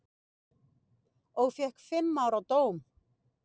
Og fékk fimm ára dóm.